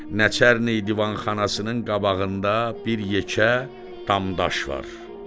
Nəçərni divanxanasının qabağında bir yekə tam daş var.